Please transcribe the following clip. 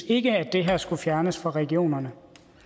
ikke at det her skulle fjernes fra regionerne